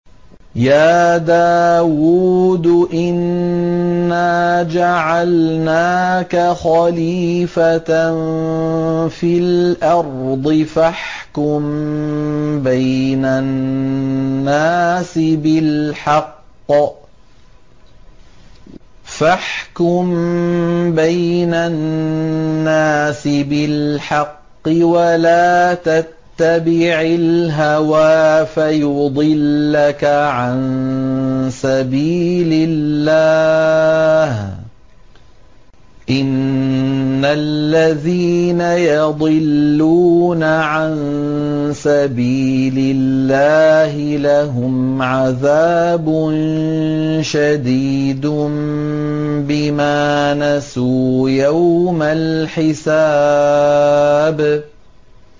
يَا دَاوُودُ إِنَّا جَعَلْنَاكَ خَلِيفَةً فِي الْأَرْضِ فَاحْكُم بَيْنَ النَّاسِ بِالْحَقِّ وَلَا تَتَّبِعِ الْهَوَىٰ فَيُضِلَّكَ عَن سَبِيلِ اللَّهِ ۚ إِنَّ الَّذِينَ يَضِلُّونَ عَن سَبِيلِ اللَّهِ لَهُمْ عَذَابٌ شَدِيدٌ بِمَا نَسُوا يَوْمَ الْحِسَابِ